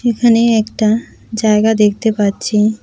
এখানে একটা জায়গা দেখতে পাচ্ছি।